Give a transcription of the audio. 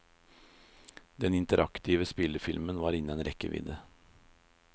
Den interaktive spillefilmen var innen rekkevidde.